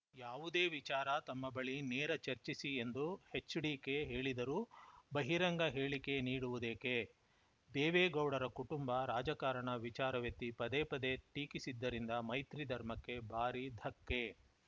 ಯಾವುದೇ ವಿಚಾರ ತಮ್ಮ ಬಳಿ ನೇರ ಚರ್ಚಿಸಿ ಎಂದು ಎಚ್‌ಡಿಕೆ ಹೇಳಿದರೂ ಬಹಿರಂಗ ಹೇಳಿಕೆ ನೀಡುವುದೇಕೆ ದೇವೇಗೌಡರ ಕುಟುಂಬ ರಾಜಕಾರಣ ವಿಚಾರವೆತ್ತಿ ಪದೇ ಪದೇ ಟೀಕಿಸಿದ್ದರಿಂದ ಮೈತ್ರಿ ಧರ್ಮಕ್ಕೆ ಭಾರೀ ಧಕ್ಕೆ